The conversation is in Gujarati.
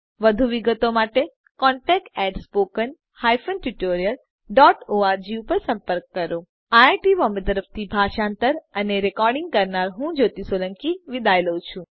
વધુ વિગતો માટે contactspoken tutorialorg ઉપર સંપર્ક કરો જોડાવા બદ્દલ આભાર આઈઆઈટી બોમ્બે તરફથી ભાષાંતર કરનાર હું જ્યોતિ સોલંકી વિદાય લઉં છું